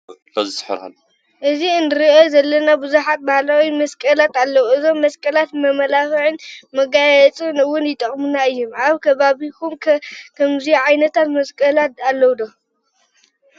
እዚ እንርእዮ ዘለና ብዙሓት ባህላዊ መስቀላት ኣለው። እዞም መስቀላት ንመመላክዕን መጋየፅን እውን ይጠቅሙና እዮም። ኣብ ከባቢኩም ከ ከምዚ ዓይነታት መሰቀላት ኣለው ዶ?